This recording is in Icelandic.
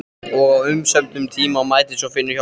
Og á umsömdum tíma mætir svo Finnur hjá Spes.